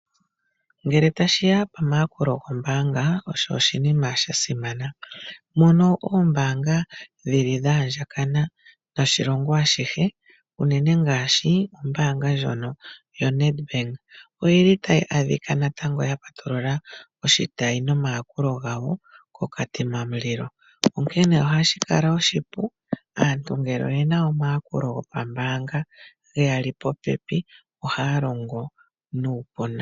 Ngele tashiya pomayakulo goombanga oshinima shasima. Mono oombaanga dhili dha andjakana noshilongo ashihe unene ngaashi ombaanga ndjono yoNedbank oyili tayi adhika natango yapatulula oshitayi nomayakulo gayo koKatima mulilo, onkene ohashi kala oshipu aantu ngele oyena omayakulo gopambaanga geyali popepi ohaya longo nuupu.